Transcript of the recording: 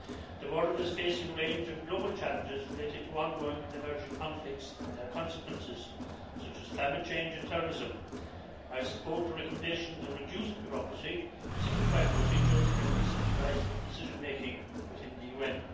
The world is facing a range of global challenges related to ongoing and emerging conflicts and their consequences, such as climate change and terrorism. I support the recommendations of reduced bureaucracy, simplified procedures and decentralised decision-making within the UN.